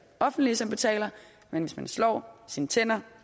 offentlige som betaler men hvis man slår sine tænder